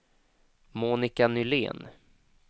Monica Nylén